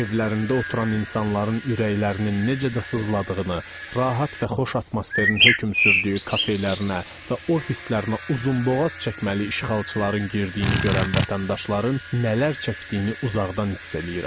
Evlərində oturan insanların ürəklərinin necə də sızladığını, rahat və xoş atmosferin hökm sürdüyü kafelərinə və ofislərinə uzunboğaz çəkməli işğalçıların girdiyini görən vətəndaşların nələr çəkdiyini uzaqdan hiss edirəm.